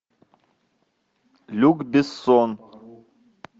люк бессон